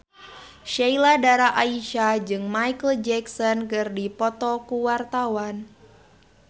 Sheila Dara Aisha jeung Micheal Jackson keur dipoto ku wartawan